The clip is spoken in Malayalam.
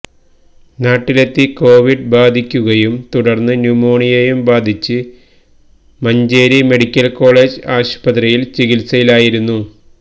നാട്ടിലെത്തി കൊവിഡ് ബാധിക്കുകയും തുടര്ന്ന് ന്യൂമോണിയയും ബാധിച്ച് മഞ്ചേരി മെഡിക്കല് കേളജ് ആശുപത്രിയില് ചികിത്സയിലായിരുന്നു